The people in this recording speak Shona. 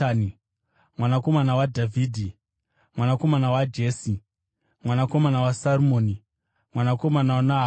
mwanakomana waJese, mwanakomana waObhedhi, mwanakomana waBhoazi, mwanakomana waSarimoni, mwanakomana waNahashoni,